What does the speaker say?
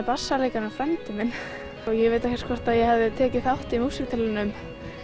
bassaleikarinn er frændi minn ég veit ekki hvort ég hefði tekið þátt í músíktilraunum